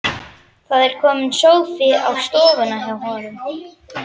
Það er kominn sófi á stofuna hjá honum.